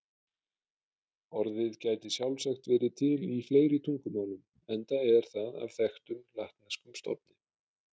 Orðið gæti sjálfsagt verið til í fleiri tungumálum enda er það af þekktum latneskum stofni.